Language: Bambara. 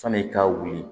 Sani i ka wuli